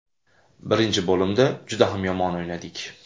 Birinchi bo‘limda juda ham yomon o‘ynadik.